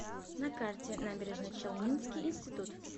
на карте набережночелнинский институт